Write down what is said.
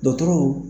Dɔkɔtɔrɔw